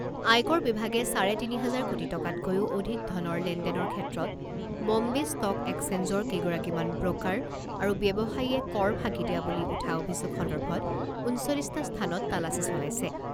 আয়কৰ বিভাগে চাৰে তিনি হাজাৰ কোটি টকাতকৈও অধিক ধনৰ লেনদেনৰ ক্ষেত্ৰত বম্বে ষ্টক একচেঞ্জৰ কেইগৰাকীমান ব্ৰ'কাৰ আৰু ব্যৱসায়ীয়ে কৰ ফাঁকি দিয়া বুলি উঠা অভিযোগ সন্দৰ্ভত ঊনচল্লিছটা স্থানত তালাচী চলাইছে।